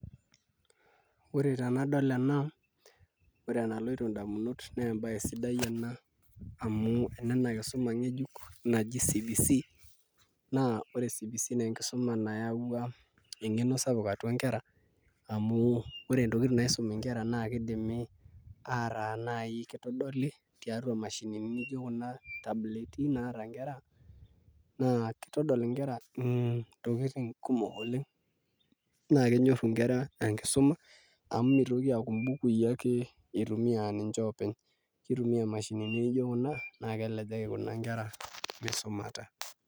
Ore tenadol ena ore enaloito indamunot naa embaye sidai ena amu enena kisuma ng'ejuk naji CBC naa ore CBC naa enkisuma nayaua eng'eno sapuk atua nkera amu ore ntokitin naisumi nkera naa kidimi ataa naai kitodoli tiatua imashinini nijio kuna tbaleti naata nkera naa kitodol nkera ntokitin kumok oleng' naa kenyorru nkera enkisuma amu mitoki aaku mbukui ake itumiaa aa ninche ake oopeny, kitumia imashinini nijio kuna naa kisaidia kuna nkera misumata.